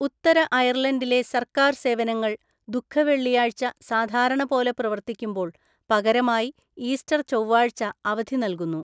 ഉത്തര അയർലണ്ടിലെ സർക്കാർ സേവനങ്ങൾ ദുഃഖവെള്ളിയാഴ്ച സാധാരണപോലെ പ്രവർത്തിക്കുമ്പോള്‍ പകരമായി ഈസ്റ്റര്‍ ചൊവ്വാഴ്ച അവധി നല്‍കുന്നു.